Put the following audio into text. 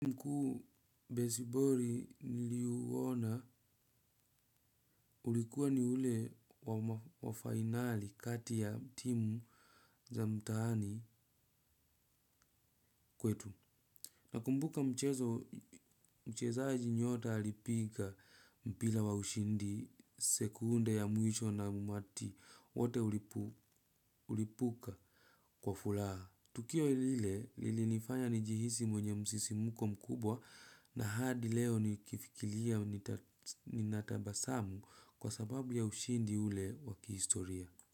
Besiboli niliuona ulikuwa ni ule wa finali kati ya timu za mtaani kwetu. Nakumbuka mchezo mchezaji nyota alipiga mpira wa ushindi sekunde ya mwisho na umati wote ulipuka kwa furaha. Tukio lile lilinifanya nijihisi mwenye msisimuko mkubwa na hadi leo nikifikiria ninatabasamu kwa sababu ya ushindi ule wa kihistoria.